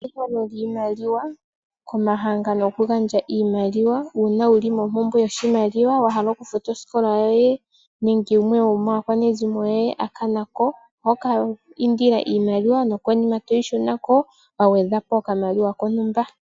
Ehehelo lyiimaliwa komahangano goku gandja iimaliwa uuna wuli mompubwe yoshimaliwa wa hala okukafuta osikola yoye nenge gumwe gwomaakwanezimo yoye a hulako oho vulu oku kiindila iimaliwa wa gwedha po okamaliwa kontumba.